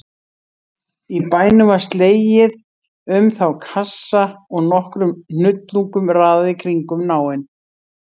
Í bænum var slegið um þá kassa og nokkrum hnullungum raðað í kringum náinn.